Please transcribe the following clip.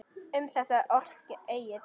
Um þetta orti Egill